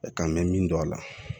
Kan mɛ min dɔn a la